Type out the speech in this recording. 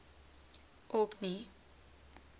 orkney